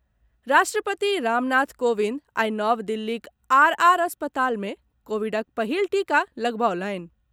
राष्ट्रपति रामनाथ कोविंद आइ नव दिल्लीक आर आर अस्पताल मे कोविडक पहिल टीका लगबौलनि।